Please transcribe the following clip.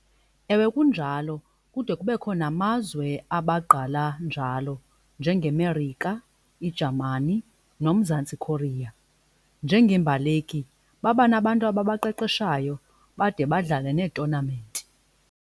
Ewe, kunjalo. Kude kubekho namazwe abagqala njalo njengeMerika iJamani noMzantsi Khoriya. Njengeembaleki baba nabantu abaqeqeshayo bade badlale neetonamenti.